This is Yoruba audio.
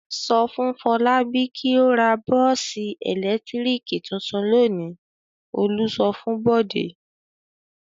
"Sọ fún Fọlábí kí ó ra bọ́ọ́sì ẹ̀lẹ́tíríkì tuntun lónìí!" Olú sọ fún Bọ̀dé.